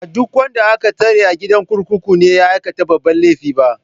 Ba duk wanda aka tsare a gidan kurkuku ne ya aikata babban laifi ba.